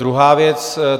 Druhá věc.